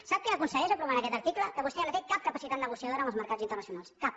sap què aconsegueix aprovant aquest article que vostè ja no té cap capacitat negociadora amb els mercats internacionals cap